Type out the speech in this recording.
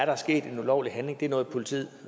er sket en ulovlig handling det er noget politiet